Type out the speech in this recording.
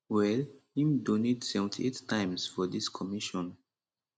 well im don donate 78 times for dis commission